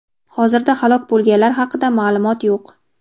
Hozirda halok bo‘lganlar haqida maʼlumot yo‘q.